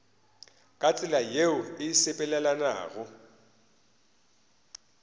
ka tsela yeo e sepelelanago